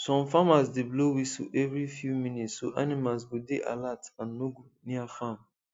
some farmers dey blow whistle every few minutes so animals go dey alert and no go near farm